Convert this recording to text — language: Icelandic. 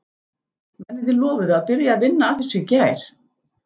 Mennirnir lofuðu að byrja að vinna að þessu í gær.